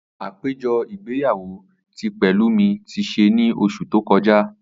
Apejọ igbeyawo ti Pelumi ti ṣe ni oṣu to kọja.